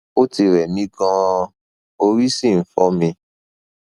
ó ti rẹ mí ganan orí sì ń fọ mi